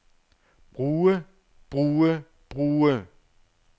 bruge bruge bruge